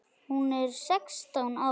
Hún er sextán ára.